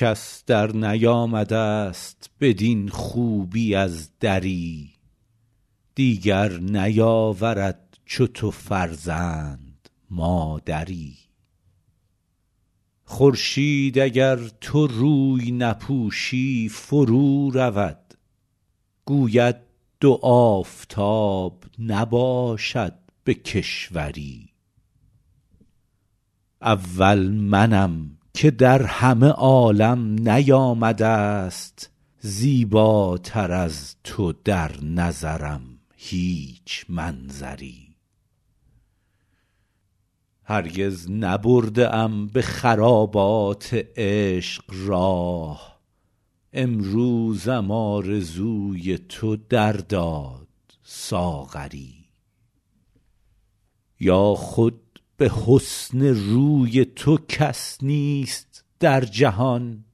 کس درنیامده ست بدین خوبی از دری دیگر نیاورد چو تو فرزند مادری خورشید اگر تو روی نپوشی فرو رود گوید دو آفتاب نباشد به کشوری اول منم که در همه عالم نیامده ست زیباتر از تو در نظرم هیچ منظری هرگز نبرده ام به خرابات عشق راه امروزم آرزوی تو در داد ساغری یا خود به حسن روی تو کس نیست در جهان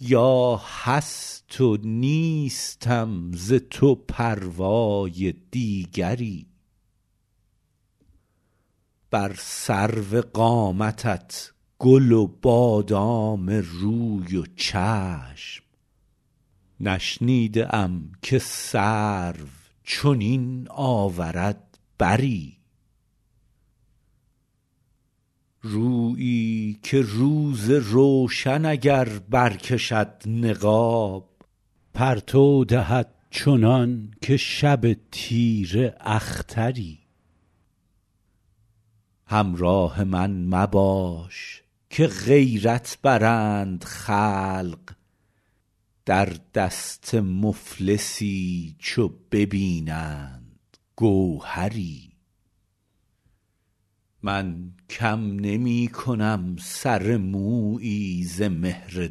یا هست و نیستم ز تو پروای دیگری بر سرو قامتت گل و بادام روی و چشم نشنیده ام که سرو چنین آورد بری رویی که روز روشن اگر برکشد نقاب پرتو دهد چنان که شب تیره اختری همراه من مباش که غیرت برند خلق در دست مفلسی چو ببینند گوهری من کم نمی کنم سر مویی ز مهر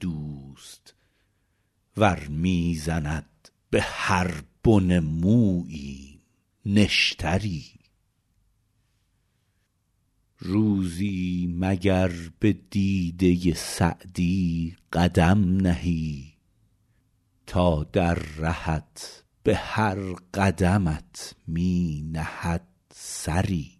دوست ور می زند به هر بن موییم نشتری روزی مگر به دیده سعدی قدم نهی تا در رهت به هر قدمت می نهد سری